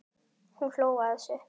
Hún hló að þessu.